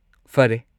ꯐꯔꯦ꯫